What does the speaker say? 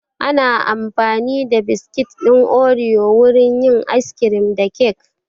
Ana amfani da biskit ɗin oriyo wurin yin ayis kirim da kek